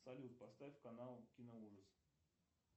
салют поставь канал киноужас